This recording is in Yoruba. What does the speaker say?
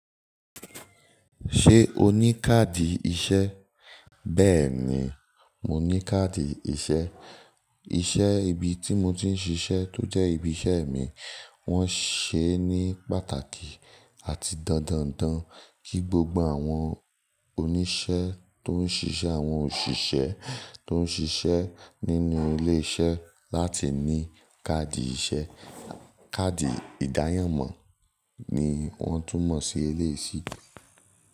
Ṣé o ní káàdì iṣẹ́? Bẹ́ẹ̀ni, mo ní káàdì iṣẹ́. Iṣẹ́ ibi tí mo ti ń ṣiṣẹ́ tó jẹ́ ibi iṣẹ́ mi wọ́n ṣee ní pàtàkì àti dandan n dan kí gbogbo àwọn oníṣẹ́ tó ń ṣiṣẹ́, àwọn òṣìṣẹ́ tó ń ṣiṣẹ́ nínú ilé iṣẹ́ láti ní káàdì iṣẹ́. Káàdì ìdáyànmọ́ ni wọ́n túnmọ̀ sí eléeyi sí.